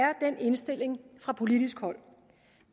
er den indstilling fra politisk hold